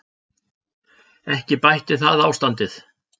Ekki bætti það ástandið.